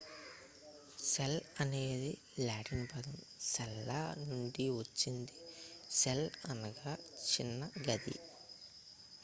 cell అనేది Latin పదం సెల్లా నుండి వచ్చింది సెల్ అనగా చిన్న గది